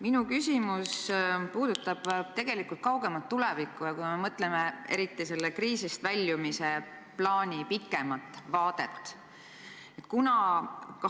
Minu küsimus puudutab tegelikult kaugemat tulevikku, eriti kui mõtleme kriisist väljumise plaani peale pikemas vaates.